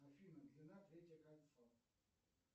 афина длина третье кольцо